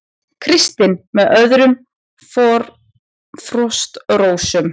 Kristinn með öðrum Frostrósum